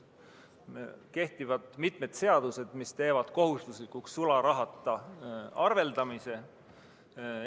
Kehtivad mitmed seadused, mis teevad sularahata arveldamise kohustuslikuks.